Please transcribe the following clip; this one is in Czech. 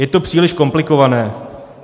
Je to příliš komplikované.